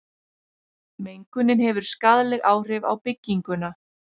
mengunin hefur skaðleg áhrif á bygginguna